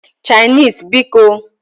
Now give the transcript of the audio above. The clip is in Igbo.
Chinese bikoǃ